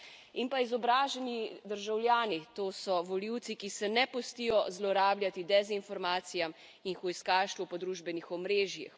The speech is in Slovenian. In pa izobraženi državljani, to so volivci, ki se ne pustijo zlorabljati dezinformacijam in hujskaštvu po družbenih omrežjih.